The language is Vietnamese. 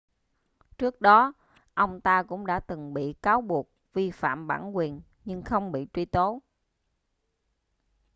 trước đó ông ta cũng đã từng bị cáo buộc vi phạm bản quyền nhưng không bị truy tố